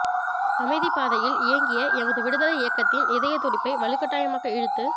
அமைதிப் பாதையில் இயங்கிய எமது விடுதலை இயக்கத்தின் இதயத்துடிப்பை வலுக்கட்டாயமாக இழுத்து